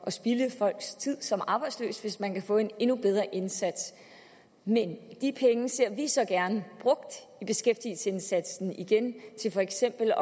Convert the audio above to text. at spilde folks tid som arbejdsløse hvis man kan få en endnu bedre indsats men de penge ser vi så gerne brugt i beskæftigelsesindsatsen igen til for eksempel